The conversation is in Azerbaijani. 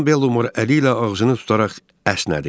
Xanım Bellumor əli ilə ağzını tutaraq əsnədi.